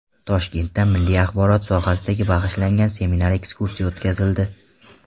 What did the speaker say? Toshkentda milliy axborot sohasiga bag‘ishlangan seminar-ekskursiya o‘tkazildi.